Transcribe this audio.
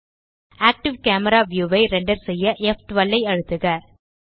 active camera view ஐ render செய்ய ப்12 ஐ அழுத்துக